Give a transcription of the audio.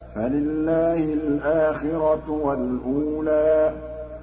فَلِلَّهِ الْآخِرَةُ وَالْأُولَىٰ